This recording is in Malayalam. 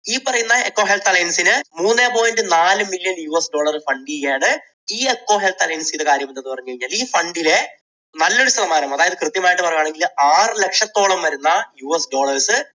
ഈ പറയുന്ന എക്കോ ഹെൽത്ത് അലയൻസിന് മൂന്ന് point നാല് million US dollar fund ചെയ്യാൻ ഈ എക്കോ ഹെൽത്ത് അലയൻസ് ചെയ്യുന്ന കാര്യം എന്ത് എന്ന് പറഞ്ഞു കഴിഞ്ഞാൽ ഈ fund ലെ നല്ലൊരു ശതമാനം അതായത് അതായത് കൃത്യമായിട്ട് പറയുകയാണെങ്കിൽ ആറു ലക്ഷത്തോളം വരുന്ന US dollars